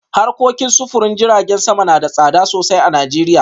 Harkokin sufurin jiragen sama na da tsada sosai a Najeriya